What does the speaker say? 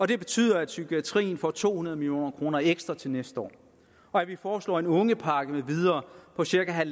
det betyder at psykiatrien får to hundrede million kroner ekstra til næste år og vi foreslår en ungepakke med videre på cirka